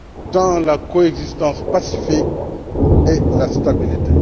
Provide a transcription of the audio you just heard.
dans la coexistence pacifique et la stabilité.